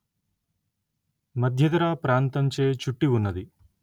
మధ్యధరా ప్రాంతంచే చుట్టి వున్నది